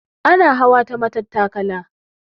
Ana hawa ta matattakala.